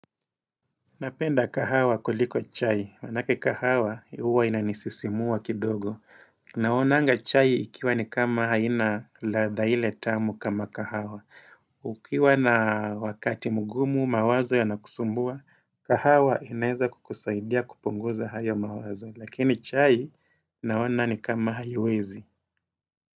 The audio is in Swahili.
Napenda kahawa kuliko chai, wanake kahawa huwa inanisisimua kidogo. Naonanga chai ikiwa ni kama haina ladha ile tamu kama kahawa. Ukiwa na wakati mgumu mawazo ya nakusumbua, kahawa inaeza kukusaidia kuponguza hayo mawazo. Lakini chai naona ni kama haiwezi.